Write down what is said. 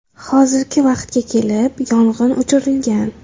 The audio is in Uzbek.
Hozirgi vaqtga kelib yong‘in o‘chirilgan.